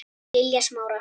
Lilja Smára.